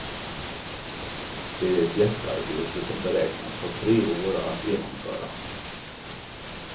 Det är ett jättearbete som beräknas ta tre år att genomföra.